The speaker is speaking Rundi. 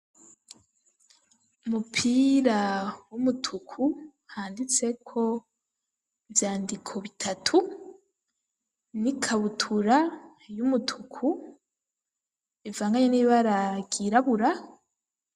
Umupira w'umutuku, handitseko ivyandiko bitatu, n'ikabutura y'umutuku, ivanganye n'ibara ryirabura.